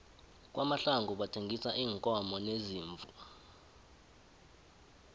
kwamahlangu bathengisa iinkomo neziimvu